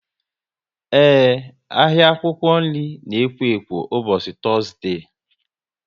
Ee, ahịa akwụkwọ nri na ekwo ekwo ụbọchị Tọzdee